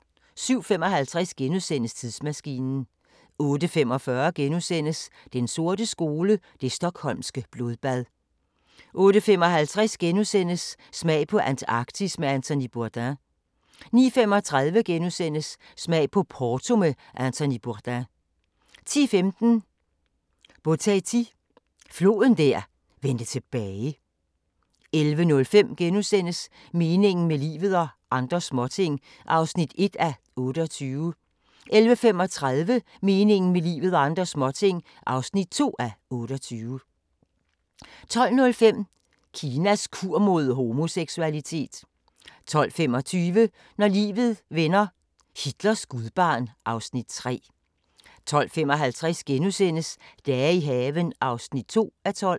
07:55: Tidsmaskinen * 08:45: Den sorte skole: Det Stockholmske blodbad * 08:55: Smag på Antarktisk med Anthony Bourdain * 09:35: Smag på Porto med Anthony Bourdain * 10:15: Boteti – floden der vendte tilbage 11:05: Meningen med livet – og andre småting (1:28)* 11:35: Meningen med livet – og andre småting (2:28) 12:05: Kinas kur mod homoseksualitet 12:25: Når livet vender - Hitlers gudbarn (Afs. 3) 12:55: Dage i haven (2:12)*